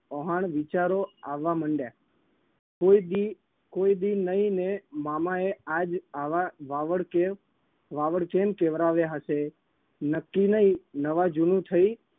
ઓહણ વિચારો આવવા મંડ્યા. કોઈ દી કોઈ દી નહીને મામાએ આજ આવા વાવડ કેમ વાવડ કેમ કેવરાવ્યા હશે? નક્કી નઈ નવા જૂનું થઈ